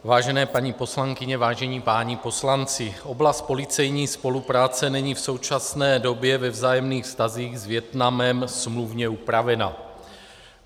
Vážené paní poslankyně, vážení páni poslanci, oblast policejní spolupráce není v současné době ve vzájemných vztazích s Vietnamem smluvně upravena.